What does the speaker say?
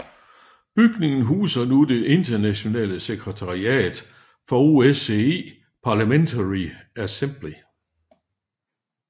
Bygningen huser nu det internationale sekretariat for OSCE Parliamentary Assembly